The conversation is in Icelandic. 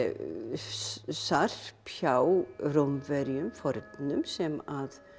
sarp hjá Rómverjum fornum sem að